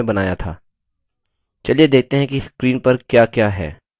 चलिए देखते हैं कि screen पर क्या क्या है